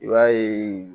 I b'a ye